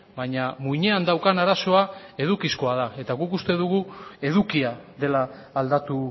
baina muinean daukan arazoa edukizkoa da eta guk uste dugu edukia dela aldatu